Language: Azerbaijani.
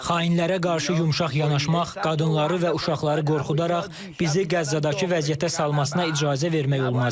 Xainlərə qarşı yumşaq yanaşmaq, qadınları və uşaqları qorxudaraq bizi Qəzzadakı vəziyyətə salmasına icazə vermək olmaz.